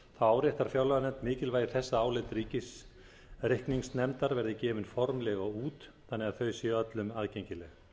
áréttar fjárlaganefnd mikilvægi þess að álit ríkisreikningsnefndar verði gefin formlega út þannig að þau séu öllum aðgengileg